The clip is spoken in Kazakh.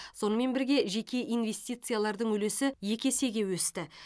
сонымен бірге жеке инвестициялардың үлесі екі есеге өсті